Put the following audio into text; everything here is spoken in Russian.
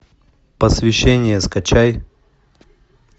посвящение скачай